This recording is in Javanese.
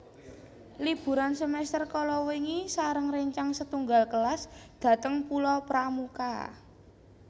Liburan semester kalawingi sareng rencang setunggal kelas dateng Pulau Pramuka